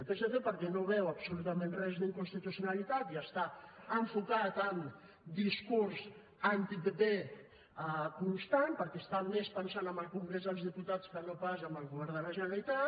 el psc perquè no hi veu absolutament res d’inconstitucionalitat i està enfocat en discurs antipp constant perquè està més pensant en el congrés dels diputats que no pas en el govern de la generalitat